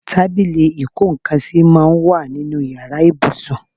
Tábìlì ìkó nńkan sì máa ń wà nínú ìyára ibùsùn.